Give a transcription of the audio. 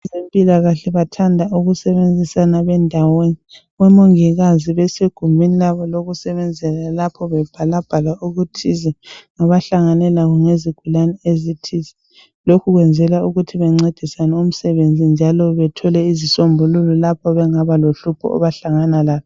Abezempilakahle bathanda ukusebenzisana bendawonye. Omongikazi besegumeni labo lokusebenzela lapho bebhalabhala okuthize abahlangane lakho ngezigulane ezithize. Lokhu kwenzelwa ukuthi bencedisane umsebenzi njalo bathole izisombululo lapho abangaba lohlupho abahlangana lalo.